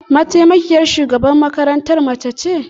Mataimakiyar shugaban makarantar mace ce?